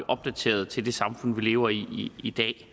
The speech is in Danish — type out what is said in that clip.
opdateret til det samfund vi lever i i dag